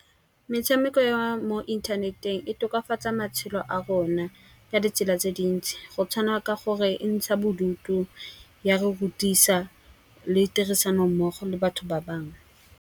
Metshameko ya mo inthaneteng e tokafatsa matshelo a rona ka ditsela tse dintsi. Go tshwana ka gore e ntsha bodutu, ya rutisa le tirisano mmogo le batho ba bangwe.